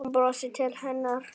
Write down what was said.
Hún brosir til hennar.